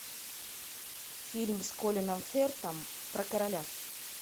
фильм с колином фертом про короля